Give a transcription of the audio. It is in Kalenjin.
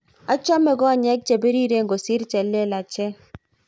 achame komek chebiriren kosir chelelechen